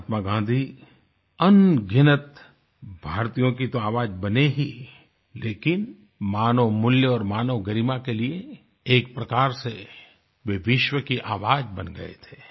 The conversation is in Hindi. महात्मा गाँधी अनगिनत भारतीयों की तो आवाज बने ही लेकिन मानव मूल्य और मानव गरिमा के लिए एक प्रकार से वे विश्व की आवाज बन गये थे